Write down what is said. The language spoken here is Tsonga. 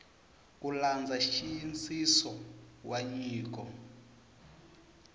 ku landza nxiyisiso wa nyiko